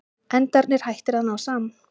Endarnir hættir að ná saman.